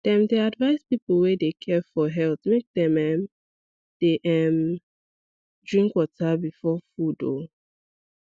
dem dey advise people wey dey care for health make dem um dey um drink water before food um